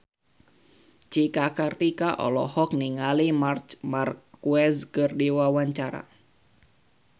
Cika Kartika olohok ningali Marc Marquez keur diwawancara